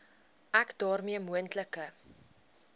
ek daarmee moontlike